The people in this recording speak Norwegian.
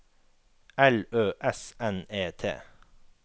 L Ø S N E T